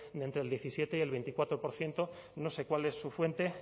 de entre el diecisiete y el veinticuatro por ciento no sé cuál es su fuente